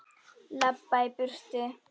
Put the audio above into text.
Labba í burtu.